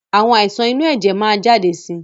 Àwọn àìsàn inú ẹ̀jẹ̀ máa ma jáde si